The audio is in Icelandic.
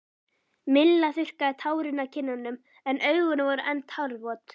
Milla þurrkaði tárin af kinnunum en augun voru enn tárvot.